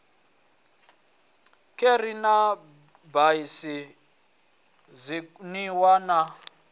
kheri na raisi zwinwiwa na